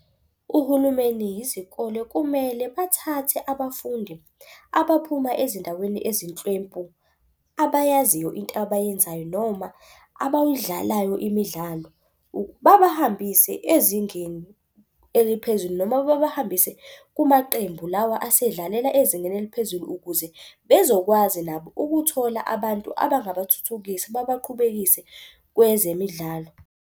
Uhulumeni yizikole kumele bathathe abafundi abaphuma ezindaweni ezinhlwempu abayaziyo into abayenzayo noma imidlalo. Babahambise ezingeni eliphezulu noma babahambise kumaqembu lawa asedlalela ezingeni eliphezulu. Ukuze bezokwazi nabo ukuthola abantu abangathuthukisa baqhubekise kwezemidlalo.